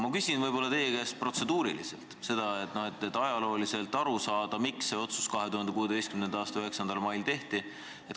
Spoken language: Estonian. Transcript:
Ma küsin teie käest aga ajaloo kohta käiva küsimuse, et asjast aru saada: miks see otsus 2016. aasta 9. mail tehti?